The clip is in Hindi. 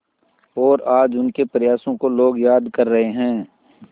और आज उनके प्रयासों को लोग याद कर रहे हैं